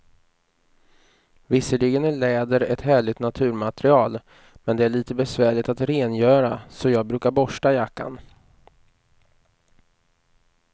Visserligen är läder ett härligt naturmaterial, men det är lite besvärligt att rengöra, så jag brukar borsta jackan.